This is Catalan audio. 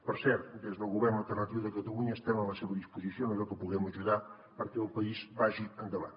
per cert des del govern alternatiu de catalunya estem a la seva disposició en allò que puguem ajudar perquè el país vagi endavant